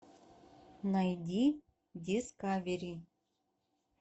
найди дискавери